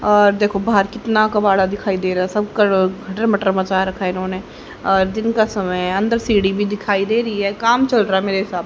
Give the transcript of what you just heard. अ देखो बाहर कितना कबाड़ा दिखाई दे रहा है सब क खटर मटर मचा रखा इन्होंने दिन का समय अंदर सीढ़ी भी दिखाई दे रही है काम चल रहा है मेरे हिसाब--